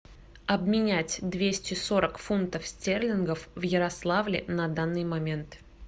обменять двести сорок фунтов стерлингов в ярославле на данный момент